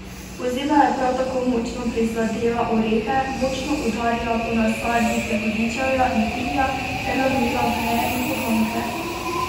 Pozeba je prav tako močno prizadela orehe, močno udarila po nasadih jagodičevja in kivija ter lomila veje in poganjke.